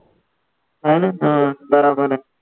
हा ना हा बरोबर आहे.